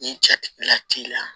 Ni jatigila kilan